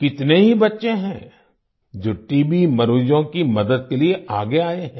कितने ही बच्चे हैं जो टीबी मरीजों की मदद के लिए आगे आए हैं